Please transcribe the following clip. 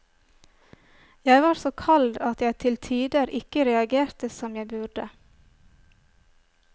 Jeg var så kald at jeg til tider ikke reagerte som jeg burde.